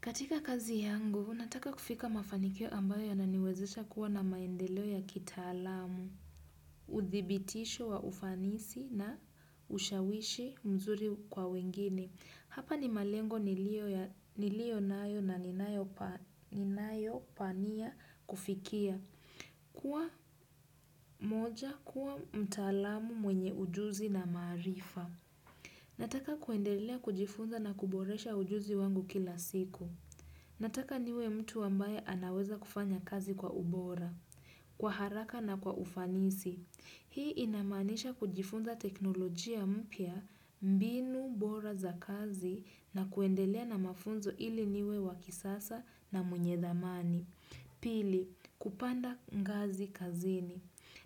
Katika kazi yangu, nataka kufika mafanikio ambayo ya naniwezesha kuwa na maendeleo ya kitalamu. Uthibitisho wa ufanisi na ushawishi mzuri kwa wengine. Hapa ni malengo nilio nayo na ninayo pania kufikia. Kuwa moja, kuwa mtalamu mwenye ujuzi na maarifa. Nataka kuendelea kujifunza na kuboresha ujuzi wangu kila siku. Nataka niwe mtu ambaye anaweza kufanya kazi kwa ubora. Kwa haraka na kwa ufanisi. Hii inamaanisha kujifunza teknolojia mpya, mbinu bora za kazi na kuendelea na mafunzo ili niwe wakisasa na mwenye thamani. Pili, kupanda ngazi kazini.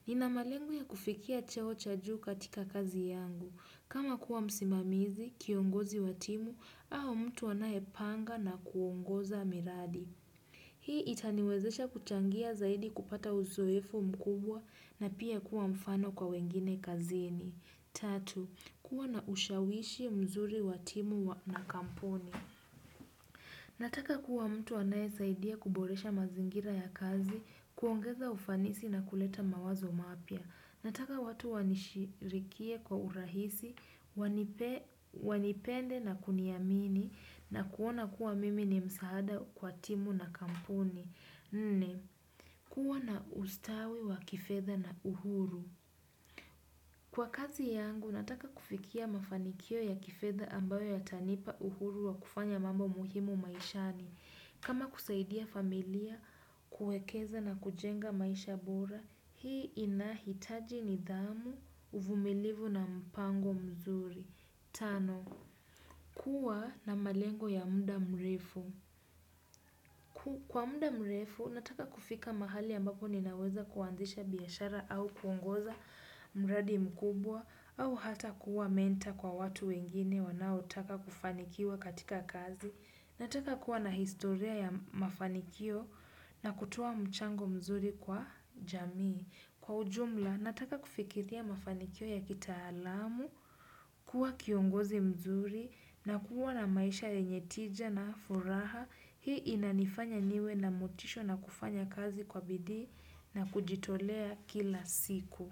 Ninamalengo ya kufikia cheo cha juu katika kazi yangu. Kama kuwa msimamizi, kiongozi wa timu, au, mtu anae panga na kuongoza miradi. Hii itaniwezesha kuchangia zaidi kupata uzoefu mkubwa na pia kuwa mfano kwa wengine kazini. Tatu, kuwa na ushawishi mzuri watimu na kampuni. Nataka kuwa mtu anae saidia kuboresha mazingira ya kazi, kuongeza ufanisi na kuleta mawazo mapya. Nataka watu wanishirikie kwa urahisi, wanipende na kuniamini na kuona kuwa mimi ni msaada kwa timu na kampuni. Nne, kuwa na ustawi wa kifedha na uhuru. Kwa kazi yangu, nataka kufikia mafanikio ya kifedha ambayo yatanipa uhuru wa kufanya mambo muhimu maishani. Kama kusaidia familia, kuekeza na kujenga maisha bora, hii inahitaji nidhamu, uvumilivu na mpango mzuri. Tano, kuwa na malengo ya muda mrefu. Kwa munda mrefu, nataka kufika mahali ambako ninaweza kuwanzisha biashara au kuongoza mradi mkubwa, au hata kuwa menta kwa watu wengine wanao taka kufanikiwa katika kazi. Nataka kuwa na historia ya mafanikio na kutoa mchango mzuri kwa jamii. Kwa ujumla, nataka kufikithia mafanikio ya kita alamu, kuwa kiongozi mzuri na kuwa na maisha yenye tija na furaha. Hii inanifanya niwe na mutisho na kufanya kazi kwa bidii na kujitolea kila siku.